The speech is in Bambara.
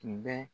Tun bɛ